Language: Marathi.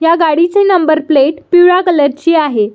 ह्या गाडीची नंबर प्लेट पिवळ्या कलर ची आहे.